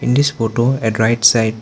In this photo at right side --